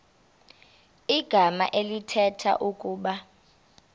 igama elithetha ukuba